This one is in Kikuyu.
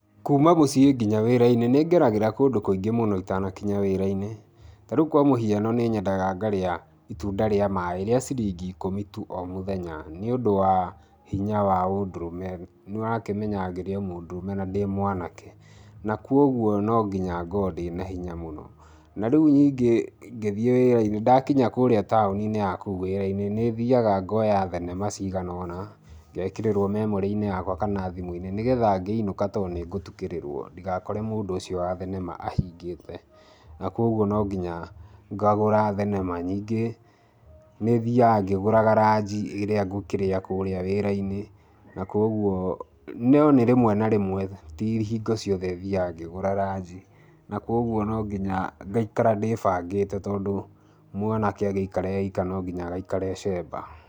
Kuma mũciĩ nginya wĩra-inĩ nĩngeragĩra kũndũ kũingĩ mũno itanakinya wĩra-inĩ, ta rĩu kwa mũhiano nĩ nyendaga ngarĩa itunda rĩa maĩ, rĩa ciringi ikũmi tu o mũthenya nĩũndũ wa hinya wa ũndũrũme, nĩũrakĩmenya ngĩrĩ o mũndũrũme na ndĩ mwanake na kuoguo no nginya ngorwo ndĩ na hinya mũno. Na rĩu ningĩ ngĩthiĩ wĩra-inĩ ndakinya kũrĩa taũni-inĩ ya kũu wĩra-inĩ, nĩthiaga ngoya thenema cigana ũna ngekĩrĩrwo memory inĩ yakwa kana thimũ-inĩ nĩgetha ngĩinũka tondũ nĩngũtukĩrĩrwo ndigakore mũndũ ũcio wa thenema ahingĩte na kuoguo no nginya ngagũra thenema ningĩ nĩthiaga ngĩgũraga ranji ĩrĩa ngũkĩrĩa kũrĩa wĩra-inĩ, na kuoguo no nĩ rĩmwe na rĩmwe ti hingo ciothe thiaga ngĩgũrga ranji na kuoguo no nginya ngaikara ndĩbangĩte tondũ mwanake agĩikara e ika no nginya agaikara e cemba.